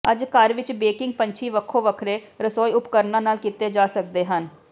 ਅੱਜ ਘਰ ਵਿਚ ਬੇਕਿੰਗ ਪੰਛੀ ਵੱਖੋ ਵੱਖਰੇ ਰਸੋਈ ਉਪਕਰਣਾਂ ਨਾਲ ਕੀਤੇ ਜਾ ਸਕਦੇ ਹਨ